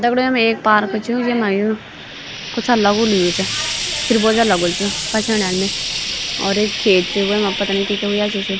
दगड़ियों यमा ऐक पार्क च येमा यू कुछक लगुल हूयू च खीरबोजक लगुल च यो पच्याणा ना और ऐक खेत च वेमा पता नि कि कि हुया छि ।